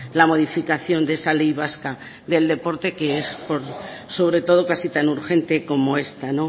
la modificación de esa ley vasca del deporte que es por sobre todo casi tan urgente como esta